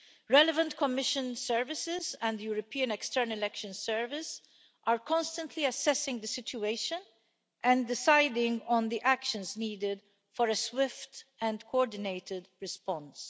Relevant Commission services and the European External Action Service are constantly assessing the situation and deciding on the actions needed for a swift and coordinated response.